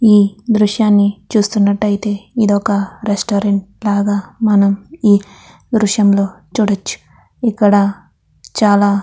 ఈ దృశ్యాన్ని చూస్తునట్టయితే ఈ దృశ్యాన్ని రెస్టారంట్ లాగా మనం ఈ దృశ్యంలో చూడొచ్చు. ఇక్కడ చాలా-- --